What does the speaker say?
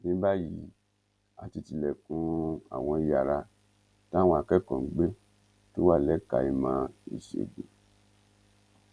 ní báyìí a ti tilẹkùn àwọn yàrá táwọn akẹkọọ ń gbé tó wà lẹka ìmọ ìṣègùn